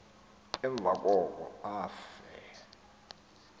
emva koko afe